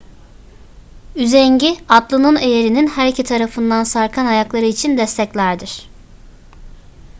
üzengi atlının eyerinin her iki tarafından sarkan ayakları için desteklerdir